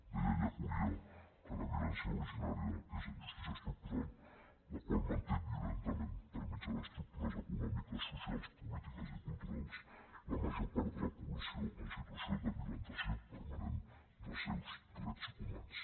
deia ellacuría que la violència originària és en justícia es tructural la qual manté violentament per mitjà d’estruc tu res econòmiques socials polítiques i culturals la major part de la població en situació de violentació permanent dels seus drets humans